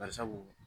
Bari sabu